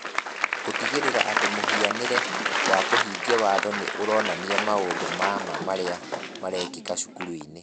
Gũtigĩrĩra atĩ mũhianĩre wa kũhingia watho nĩ ũronania maũndũ ma ma marĩa marekĩka cukuru-inĩ.